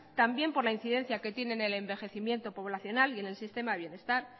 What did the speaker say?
también por la incidencia que tiene el envejecimiento poblacional y en el sistema de bienestar